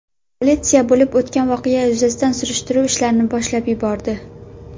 Politsiya bo‘lib o‘tgan voqea yuzasidan surishtiruv ishlarini boshlab yubordi.